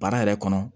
Baara yɛrɛ kɔnɔ